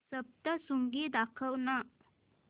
सप्तशृंगी दाखव ना